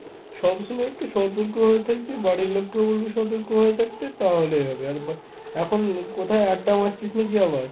সব সময় একটু সতর্ক ভাবে থাকবি, বাড়ির লোকজনকেও বলবে একটু সতর্কভাবে থাকতে তাহলেই হবে। আর বা এখন কোথায় আড্ডা মারছিস নাকি আবার?